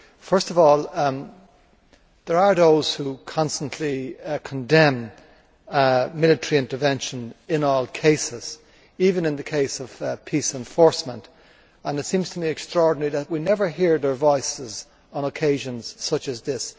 First of all, there are those who constantly condemn military intervention in all cases, even in the case of peace enforcement, and it seems to me extraordinary that we never hear their voices on occasions such as this.